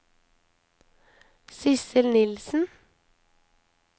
Sidsel Nilsen